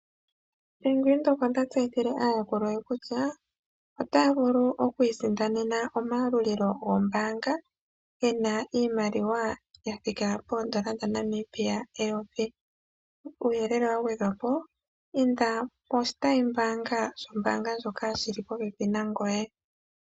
Bank Windhoek ota tseyithile aayakulwa ye kutya, otaya vulu okwiisindanena omayalulilo gombaanga gena iimaliwa ya thika poondola dhaNamibia eyovi. Uuyelele wa gwedhwa po inda koshitayimbaanga shombaanga ndjoka shili popepi na ngoye.